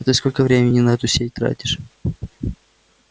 а ты сколько времени на эту сеть тратишь